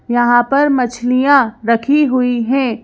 यहाँ पर मछलियां रखी हुई हैं।